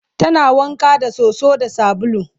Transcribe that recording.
tana wanka da soso da sabulu